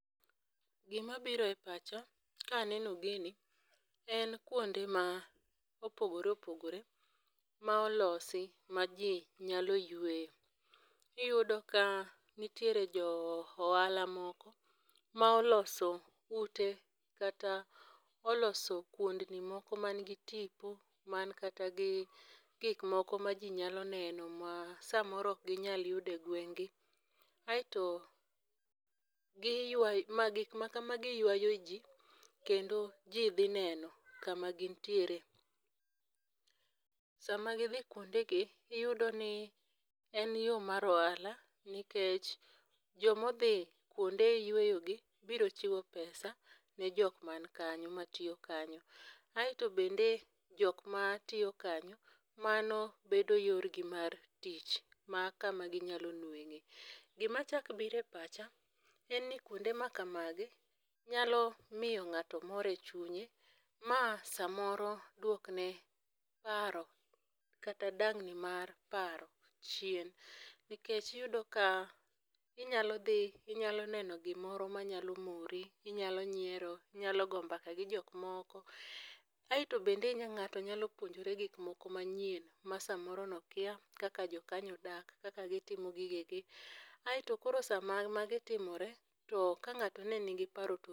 Gima biro e pacha ka aneno gini, en kuonde ma opogoreopogore ma olosi ma ji nyalo yueye. Iyudo ka nitiere jo ohala moko ma oloso ute kata oloso kuondni moko man gi tipo, man kata gi gik moko ma ji nyalo neno ma samoro ok ginyal yudo e gweng'gi. Aito, gik makamagi ywayo jii kendo ji dhi neno kama gintiere .Sama gidhi kuondegi, iyudo ni en yoo mar ohala, nikech joma odhi kuonde yweyogi bro chiwo pesa ne jok man kanyo ma tiyo kanyo. Aito bende ,jok matiyo kanyo mano bedo yorgi mar tich ma kama ginyalo nweng'e. Gima chak biro e pacha en ni kuonde ma kamagi, nyalo miyo ng'ato mor e chunye ma samoro duokne paro kata dang'ni mar paro chien. Nikech iyudo ka inyalo dhi inyalo neno gimoro manyalo mori, inyalo nyiero, inyalo goyo mbaka gi jok moko. Aito bende ng'ato nyalo puonjore gik moko manyien ma samoro nokia kaka jokanyo odak , kaka gitimo gigegi, aito koro sama magi timore ,to ka ng'ato ne nigi paro to.